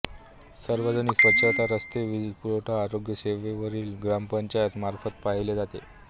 सार्वजनिक स्वच्छता रस्ते वीजपुरवठा आरोग्यसेवावेरवली ग्रामपंचायत मार्फत पाहिले जाते